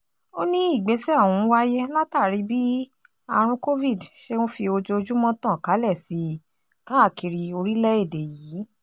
ó ní ìgbésẹ̀ ọ̀hún wáyé látàrí bí àrùn covid ṣe ń fi ojoojúmọ́ tàn kálẹ̀ sí i káàkiri orílẹ̀-èdè yìí